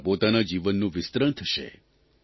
તમારા પોતાના જીવનનું વિસ્તરણ થશે